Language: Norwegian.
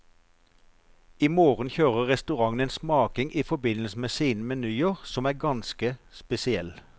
I morgen kjører restauranten en smaking i forbindelse med sine menyer som er ganske spesiell.